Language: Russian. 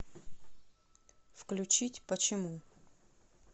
включить почему